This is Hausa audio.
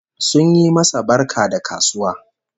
Sun yi masa barka da kasuwa